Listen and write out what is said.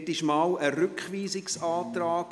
Hierzu gab es einmal einen Rückweisungsantrag.